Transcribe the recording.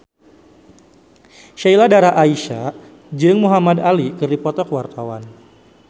Sheila Dara Aisha jeung Muhamad Ali keur dipoto ku wartawan